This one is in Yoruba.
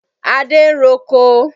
Adé ń roko.